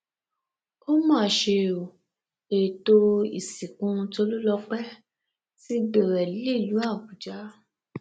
ó mà ṣe o ètò ìsìnkú tólùlọpẹ ti bẹrẹ nílùú àbújá